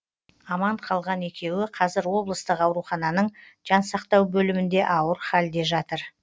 аман қалған екеуі қазір облыстық аурухананың жансақтау бөлімінде ауыр халде жатыр